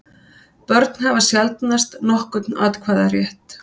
Börn hafa sjaldnast nokkurn atkvæðarétt.